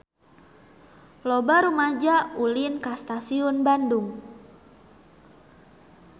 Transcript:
Loba rumaja ulin ka Stasiun Bandung